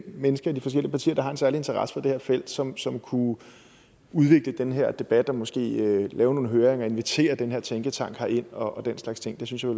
mennesker i de forskellige partier der har en særlig interesse for det her felt som som kunne udvikle den her debat og måske lave nogle høringer og invitere den her tænketank herind og den slags ting det synes jeg